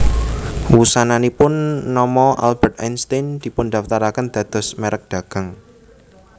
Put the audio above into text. Wusananipun nama Albert Einstein dipundaftaraken dados merk dagang